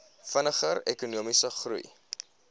vinniger ekonomiese groei